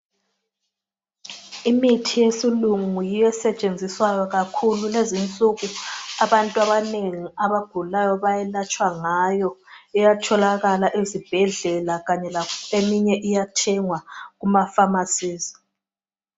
imithi yesilungu yiyo esetshenziswayo kakhulu kulezinsuku abantu abanengi abagulayo bayelatshwa ngayo iyatholakala ezibhedlela eminye iyathengwa kumaphamarcies